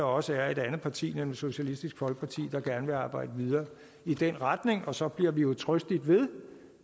også et andet parti nemlig socialistisk folkeparti der gerne vil arbejde videre i den retning og så bliver vi jo trøstigt ved